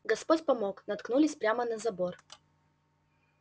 господь помог наткнулись прямо на забор